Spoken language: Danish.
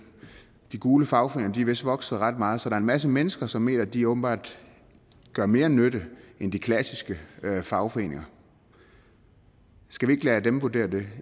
de gule fagforeninger er vist vokser ret meget så der er en masse mennesker som mener at de åbenbart gør mere nytte end de klassiske fagforeninger skal vi ikke lade dem vurdere det